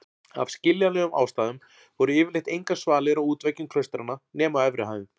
Af skiljanlegum ástæðum voru yfirleitt engar svalir á útveggjum klaustranna nema á efri hæðum.